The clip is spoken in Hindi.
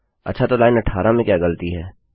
अच्छा तो लाइन 18 में क्या ग़लती है